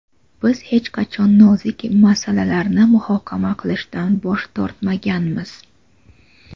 Biz hech qachon nozik masalalarni muhokama qilishdan bosh tortmaganmiz.